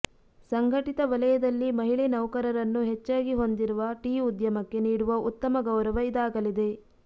ಸಂಘಟಿತ ವಲಯದಲ್ಲಿ ಮಹಿಳೆ ನೌಕರರನ್ನು ಹೆಚ್ಚಾಗಿ ಹೊಂದಿರುವ ಟೀ ಉದ್ಯಮಕ್ಕೆ ನೀಡುವ ಉತ್ತಮ ಗೌರವ ಇದಾಗಲಿದೆ